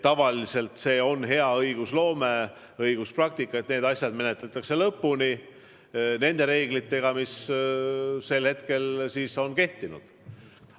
Tavaliselt on hea õiguspraktika see, et asjad menetletakse lõpuni nende reeglitega, mis sel hetkel on kehtinud.